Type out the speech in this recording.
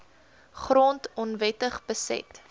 grond onwettig beset